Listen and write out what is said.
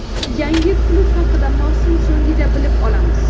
Yangi klub haqida mavsum so‘ngida bilib olamiz.